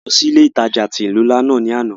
A lọ si ile-itaja ti ilu nla náa ni ana.